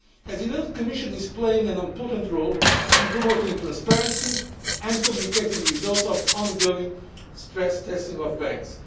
testing. As you know, the Commission is playing an important role in promoting transparency and communicating the results of the ongoing stress testing of